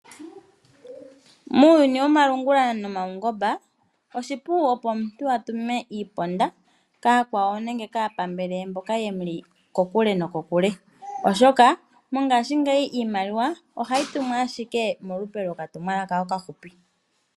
Muuyuni womalungula nomaungomba oshipu opo omuntu atume iiponda. Kaakwawo nenge kaapambele ye mboka yemuli kokule nokokule oshoka mongaashingeyi iimaliwa ohayi tumwa ashike molupe loka tumwalaka okafupi.